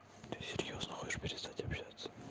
ты серьёзно хочешь перестать общаться